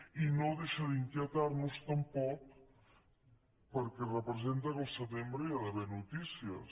i no deixa d’inquietar nos tampoc perquè representa que al setembre hi ha d’haver notícies